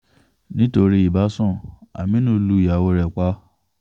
nítorí ìbásun aminu lu ìyàwó ẹ̀ pa